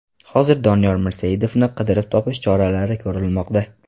Hozirda Doniyor Mirsaidovni qidirib topish choralari ko‘rilmoqda.